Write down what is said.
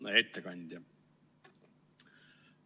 Hea ettekandja!